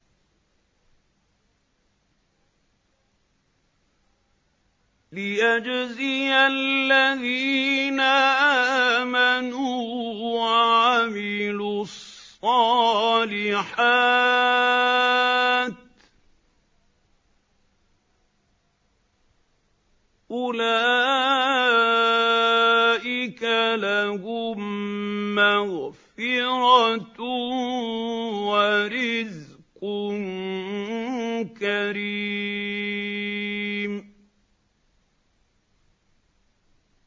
لِّيَجْزِيَ الَّذِينَ آمَنُوا وَعَمِلُوا الصَّالِحَاتِ ۚ أُولَٰئِكَ لَهُم مَّغْفِرَةٌ وَرِزْقٌ كَرِيمٌ